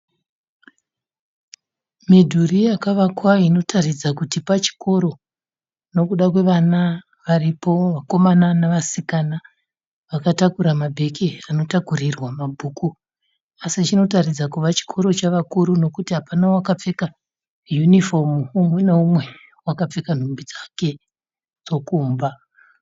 Midhuri yakavakwa inotaridza kuti pachikoro , nekuda kwevana varipo vakomana nevasikana. Vakatakura mabheke anotakurirwa mabhuku. Asi chinotaridza kuva chikoro chevakuru nekuti hapana wakapfeka uniform umwe neumwe wakapfeka nhumbi dzake dzokumba.